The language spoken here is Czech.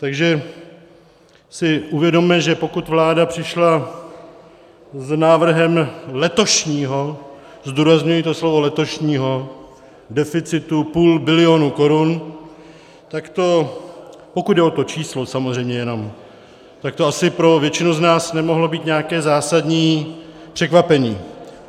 Takže si uvědomme, že pokud vláda přišla s návrhem letošního - zdůrazňuji to slovo letošního - deficitu půl bilionu korun, tak to, pokud jde o to číslo samozřejmě jenom, tak to asi pro většinu z nás nemohlo být nějaké zásadní překvapení.